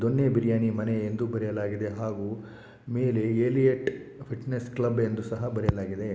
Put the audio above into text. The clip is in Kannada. ದೊನ್ನೆ ಬಿರಿಯಾನಿ ಮನೆ ಎಂದು ಬರಿಯಲಾಗಿದೆ ಹಾಗೆ ಮೇಲೆ ಎಳೀಯ್ಟ್ ಫಿಟ್ನೆಸ್ ಕ್ಲಬ್ ಎಂದು ಸಹ್ ಬರಿಯ್ಲಾಗಿದೆ .